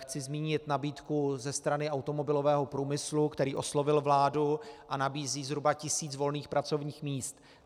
Chci zmínit nabídku ze strany automobilového průmyslu, který oslovil vládu a nabízí zhruba tisíc volných pracovních míst.